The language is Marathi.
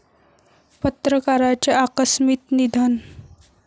पत्रकाराचे आकस्मित निधन